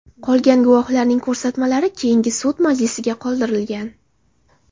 Qolgan guvohlarning ko‘rsatmalari keyingi sud majlisiga qoldirilgan.